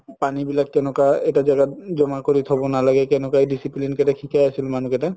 পানি বিলাক কেনেকুৱা এটা জাগাত জমা কৰি থব নালাগে কেনেকা discipline কেইটা সিকাই আছিল মানুহ কেইটা